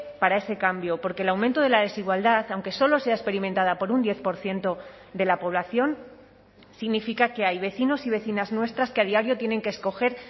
para ese cambio porque el aumento de la desigualdad aunque solo sea experimentada por un diez por ciento de la población significa que hay vecinos y vecinas nuestras que a diario tienen que escoger